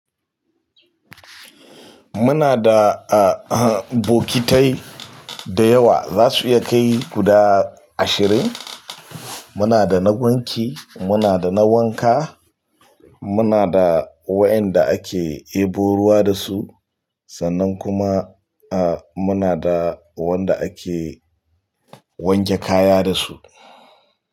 Muna da, ah, bokitai da yawa, za su iya kai guda ashirin. Muna da na wanki, muna da na wanka, muna da waɗanda ake ɗebo ruwa da su sannan kuma, ah, muna da wanda ake wanke kaya dasu.